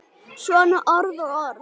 Svona orð og orð.